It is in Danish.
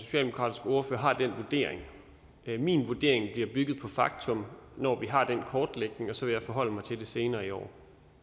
socialdemokratiske ordfører har den vurdering min vurdering bliver bygget på faktum når vi har den kortlægning og så vil jeg forholde mig til det senere i år